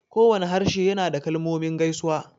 Kowane harshe yana da kalmomin gaisuwa